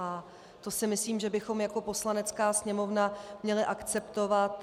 A to si myslím, že bychom jako Poslanecká sněmovna měli akceptovat.